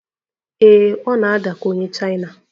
Ee, ọ na-ada ka onye Chaina